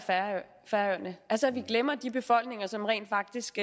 færøerne altså at vi glemmer de befolkninger som rent faktisk